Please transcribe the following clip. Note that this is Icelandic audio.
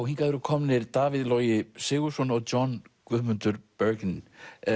hingað eru komnir Davíð Logi Sigurðsson og John Guðmundur Bergen